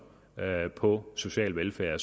på social velfærd